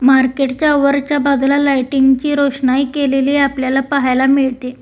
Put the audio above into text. Market च्या वरच्या बाजूला लाइटिंग ची रोषनाई केलेली आपल्याला पाहायला मिळते.